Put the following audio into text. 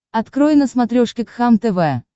открой на смотрешке кхлм тв